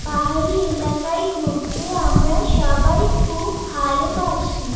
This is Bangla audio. পাহাড়ি এলাকায় ঘুরতে আমরা সবাই খুব ভালোবাসি।